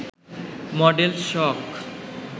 model শখ